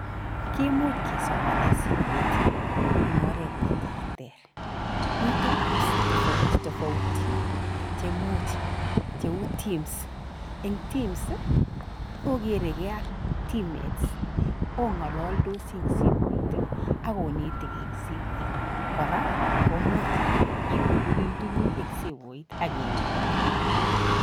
Kimuch kesomane simoit eng oret ne terter, mito apps tofautitofauti che much cheu teams eng teams, okerekei ak team mates ongololdosi eng simoit ak onetekei eng simoit, kora komuch ikukulen tuguk ing simoit ak inetkei.